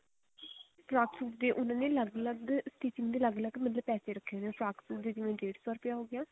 frock suit ਦੇ ਉਹਨਾ ਦੇ ਅਲੱਗ ਅਲੱਗ stitching ਦੇ ਮਤਲਬ ਅਲੱਗ ਅਲੱਗ ਪੈਸੇ ਰੱਖੇ ਹੋਏ ਨੇ ਫਰਾਕ ਸੂਟ ਦੇ ਜਿਵੇਂ ਡੇੜ ਸੋ ਹੋਗਿਆ